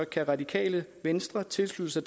kan radikale venstre tilslutte sig